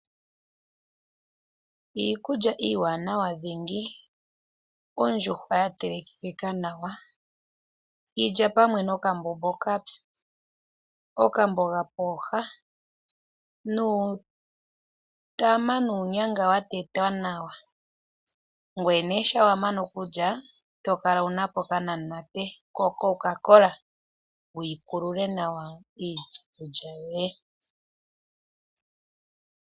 Iikulya iiwanawa dhingi. Ondjuhwa ya telekekeka nawa, yi lya pamwe nokambombo okapyu, okamboga pooha nuutama nuunyanga wa tetwa nawa. Ngele wa mana okulya to kala wu na po okanamunate koCoca-Cola wu kulule nawa iikulya yoye.